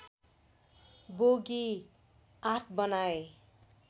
bogie ८ बनाए